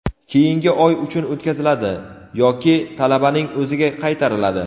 keyingi oy uchun o‘tkaziladi yoki talabaning o‘ziga qaytariladi.